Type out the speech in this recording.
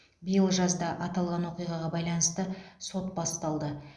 биыл жазда аталған оқиғаға байланысты сот басталды